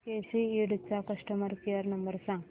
केसी इंड चा customer care number सांग